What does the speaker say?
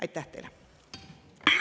Aitäh teile!